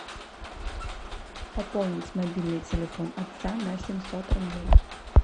пополнить мобильный телефон отца на семьсот рублей